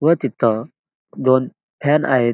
व तिथ दोन फॅन आहेत.